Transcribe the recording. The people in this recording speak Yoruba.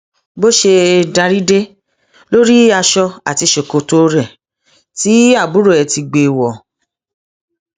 bó ṣe darí dé ló rí aṣọ àti ṣòkòtò rẹ tí àbúrò ẹ ti gbé wọ